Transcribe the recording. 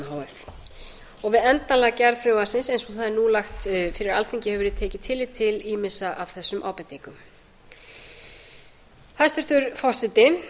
f og við endanlega gerð frumvarpsins eins og það er núna lagt fyrir alþingi hefur verið tekið tillit til ýmissa af þessum ábendingum hæstvirtur forseti